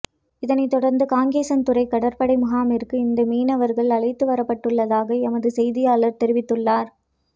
இதனைத் தொடர்ந்து காங்கேசன் துறை கடற்படை முகாமிற்கு இந்த மீனவர்கள் அழைத்து வரப்பட்டுளளதாக எமது செய்தியாளர் தெரிவித்துள்ளார்